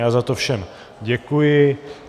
Já za to všem děkuji.